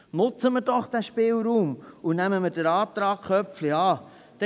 Nutzen wir doch diesen Spielraum und nehmen wir den Antrag Köpfli an.